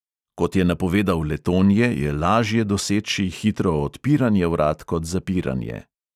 Kot je napovedal letonje, je lažje doseči hitro odpiranje vrat kot zapiranje.